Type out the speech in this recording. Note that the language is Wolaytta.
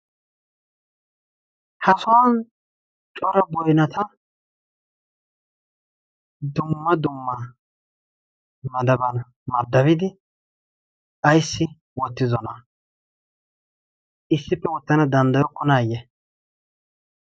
Ha sohuwan cora boynata dumma dumma. madaban maddabidi ayssi wottidonaa issippe wottana danddayokkonaayye?